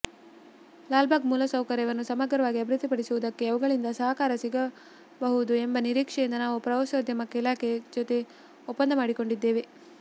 ಲಾಲ್ಬಾಗ್ ಮೂಲಸೌಕರ್ಯವನ್ನು ಸಮಗ್ರವಾಗಿ ಅಭಿವೃದ್ಧಿಪಡಿಸುವುದಕ್ಕೆ ಅವುಗಳಿಂದ ಸಹಕಾರ ಸಿಗಬಹುದು ಎಂಬ ನಿರೀಕ್ಷೆಯಿಂದ ನಾವು ಪ್ರವಾಸೋದ್ಯಮ ಇಲಾಖೆ ಜೊತೆ ಒಪ್ಪಂದ ಮಾಡಿಕೊಂಡಿದ್ದೆವು